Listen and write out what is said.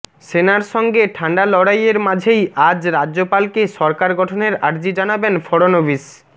সেনার সঙ্গে ঠান্ডা লড়াইয়ের মাঝেই আজ রাজ্যপালকে সরকার গঠনের আর্জি জানাবেন ফড়নবিশ